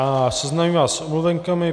A seznámím vás s omluvenkami.